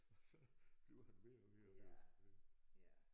Og så bliver han ved og ved og ved at spørge